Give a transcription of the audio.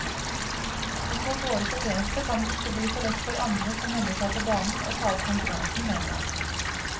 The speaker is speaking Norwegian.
Med så dårlig fortjeneste skal det ikke bli så lett for andre som melder seg på banen å ta opp konkurransen, mener han.